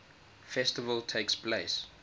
festival takes place